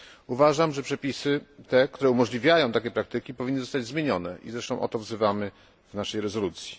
Uważam, że przepisy, które umożliwiają takie praktyki, powinny zostać zmienione i o to zresztą wzywamy w naszej rezolucji.